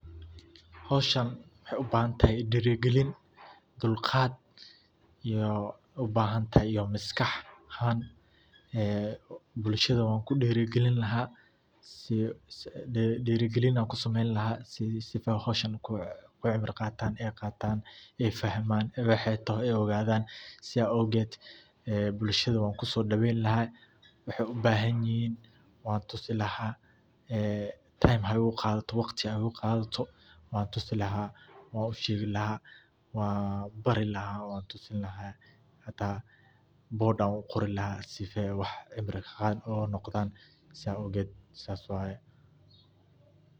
Hawshan waxey ubaxaantahay dirigilin dulqaad iyo ubaxaantahay iyo maskah aahan ee bulshadda waan ku dirigilin ee dirigalin kusameyni laa sii ey hawshan ku cibra qataan ey fahman waxa ey taaxo ogadaan sidhaa owgeed bulshaadda wan ku sodaweyn laa waxey ubahayini wan tuusi Time haa igu qaadato laa wakhtii ha igu qaadato wan tusi laa wan usheegi laa wanbari laa wan tusi laa hada boder uqori laa siife waax cibri qaat uqoondan saa ogeed saas waye